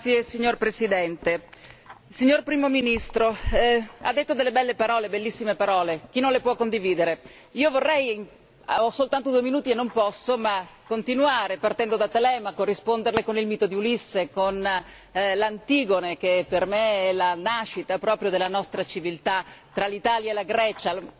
Signor Presidente, onorevoli colleghi, signor Primo Ministro, lei ha detto delle belle parole, bellissime parole, chi non le può condividere. Io vorrei continuare ho soltanto due minuti e non posso partendo da Telemaco, risponderle con il mito di Ulisse, con l'Antigone, che per me è la nascita proprio della nostra civiltà tra l'Italia e la Grecia.